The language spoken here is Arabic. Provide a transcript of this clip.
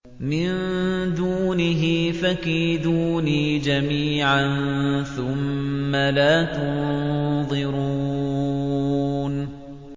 مِن دُونِهِ ۖ فَكِيدُونِي جَمِيعًا ثُمَّ لَا تُنظِرُونِ